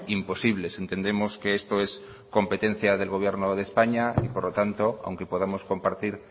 imposibles entendemos que esto es competencia del gobierno de españa y por lo tanto aunque podamos compartir